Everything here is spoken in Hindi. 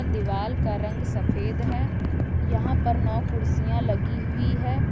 दीवाल का रंग सफेद है यहां पर नौ कुर्सियां लगी हुई है।